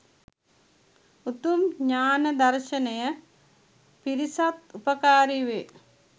උතුම් ඤාණ දර්ශනය පිණිසත් උපකාරී වේ